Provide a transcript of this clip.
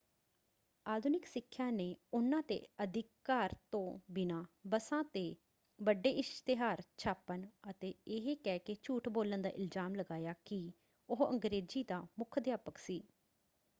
ਆਧੁਨਿਕ ਸਿੱਖਿਆ ਨੇ ਉਹਨਾਂ 'ਤੇ ਅਧਿਕਾਰ ਤੋਂ ਬਿਨਾਂ ਬੱਸਾਂ 'ਤੇ ਵੱਡੇ ਇਸ਼ਤਿਹਾਰ ਛਾਪਣ ਅਤੇ ਇਹ ਕਹਿ ਕੇ ਝੂਠ ਬੋਲਣ ਦਾ ਇਲਜ਼ਾਮ ਲਗਾਇਆ ਕਿ ਉਹ ਅੰਗਰੇਜ਼ੀ ਦਾ ਮੁੱਖ ਅਧਿਆਪਕ ਸੀ।